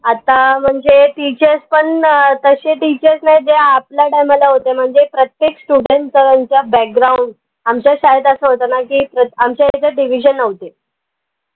आता म्हनजे teachers पन अं तशे teachers नाई जे आपल्या time माला होते म्हनजे प्रत्येक student background आमच्या शाळेत असं होत ना की, प्रत आमच्या यांच्यात division नव्हते